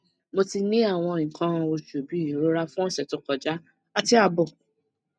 mo ti ni awon ikan osu bi irora fun ose to koja ati abo